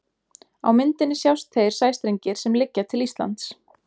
Á myndinni sjást þeir sæstrengir sem liggja til Íslands.